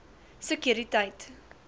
sekuriteit